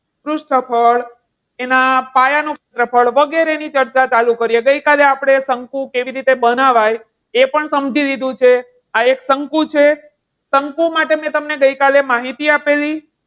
પૃષ્ઠફળ એના પાયાનો ક્ષેત્રફળ વગેરેની ચર્ચા ચાલુ કરીએ. ગઈકાલે આપણે શંકુ કેવી રીતે બનાવાય એ પણ સમજી લીધું છે. આ એક શંકુ છે. શંકુ માટે મેં તમને ગઈકાલે માહિતી આપેલી.